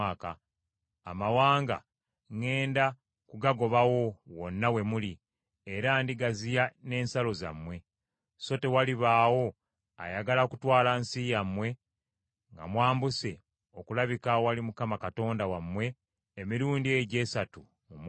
Amawanga ŋŋenda kugagobawo wonna we muli, era ndigaziya n’ensalo zammwe. So tewalibaawo ayagala kutwala nsi yammwe nga mwambuse okulabika awali Mukama Katonda wammwe emirundi egyo esatu mu mwaka.